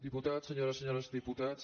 diputats senyores i senyors diputats